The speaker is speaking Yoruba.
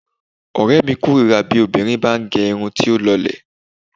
Ọ̀rẹ́mi kórira kí obìnrin bá ń gẹ irun tí ó lọlẹ̀.